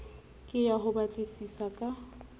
ke ya ho batlisisa ka